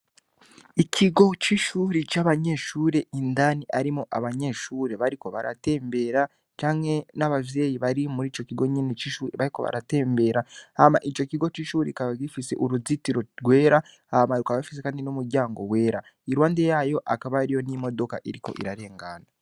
Ikigo c'ishuri c'abanyeshure indani arimo abanyeshure bariko baratembera canke n'abavyeyi bari muri ico kigo nyene c'isuri bariko baratembera hama ico kigo c'ishuri kaba gifise uruzitiro rwera hamaruka abafise, kandi n'umuryango wera, irwande yayo akaba ariyo n'imodoka iriko irarengana.